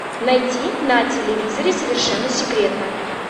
найти на телевизоре совершенно секретно